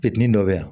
Fitinin dɔ be yan